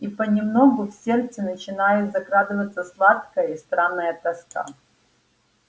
и понемногу в сердце начинает закрадываться сладкая и странная тоска